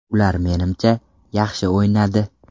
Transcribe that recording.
Ular menimcha, yaxshi o‘ynadi.